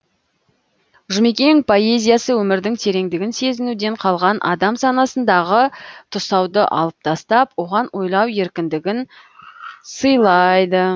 жұмекен поэзиясы өмірдің тереңдігін сезінуден қалған адам санасындағы тұсауды алып тастап оған ойлау еркіндігін сыйлайды